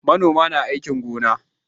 Manoma na aikin gona